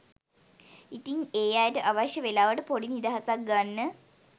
ඉතිං ඒ අයට අවශ්‍ය වෙලාවට පොඩි නිදහසක් ගන්න